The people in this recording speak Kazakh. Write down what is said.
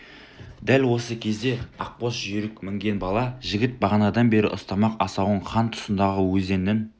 дәл осы кезде ақ боз жүйрік мінген бала жігіт бағанадан бері ұстамақ асауын хан тұсындағы өзеннің